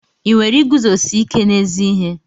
Ị nwere iguzosi ike n'ezi ihe?